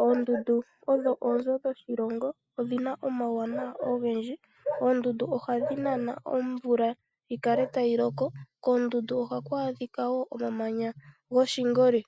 Oondundu odho oonzo dhoshilongo odhina omauwanawa ogendji. Oondundu ohadhi nana omvula yikale tayi loko, koondundu ohaku a dhika woo omamanya goshingoli